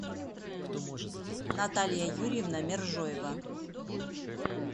наталья юрьевна мержоева